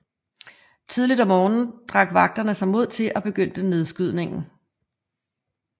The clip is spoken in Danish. Tidligt om morgenen drak vagterne sig mod til og begyndte nedskydningen